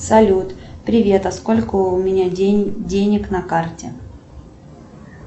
салют привет а сколько у меня денег на карте